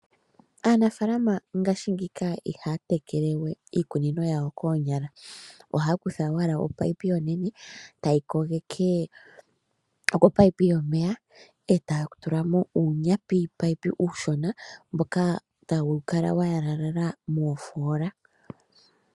Aanafalama ngaashingika ihaya tekele we iikunino yawo koonyala. Ohaa kutha owala opaipi onene taye yi kogeke kopaipi yomeya e taya tula mo uunyapipayipi uushona mboka tawu kala wa yalalala moofola.